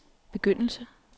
begyndelse